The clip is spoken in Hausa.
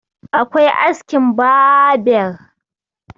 akwai askin baber